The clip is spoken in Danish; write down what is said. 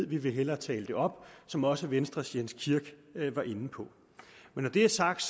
vi vil hellere tale det op som også venstres herre jens kirk var inde på når det er sagt